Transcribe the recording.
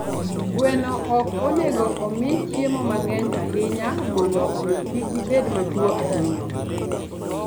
Gweno ok onego omi chiemo mang'eny ahinya mondo omi kik gibed matuwo ahinya.